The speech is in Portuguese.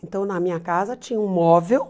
Então, na minha casa tinha um móvel.